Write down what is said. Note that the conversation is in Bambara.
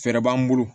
Fɛɛrɛ b'an bolo